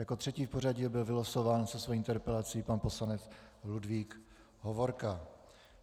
Jako třetí v pořadí byl vylosován se svou interpelací pan poslanec Ludvík Hovorka.